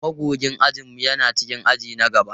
Magogin ajin mu yana cikin aji na gaba.